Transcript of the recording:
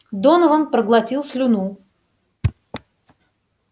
донован проглотил слюну